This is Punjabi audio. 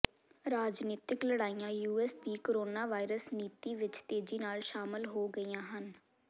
ਰਾਜਨੀਤਿਕ ਲੜਾਈਆਂ ਯੂਐਸ ਦੀ ਕੋਰੋਨਾਵਾਇਰਸ ਨੀਤੀ ਵਿੱਚ ਤੇਜ਼ੀ ਨਾਲ ਸ਼ਾਮਲ ਹੋ ਗਈਆਂ ਹਨ